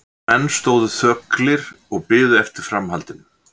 En menn stóðu þöglir og biðu eftir framhaldinu.